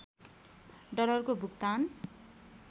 डलरको भुक्तान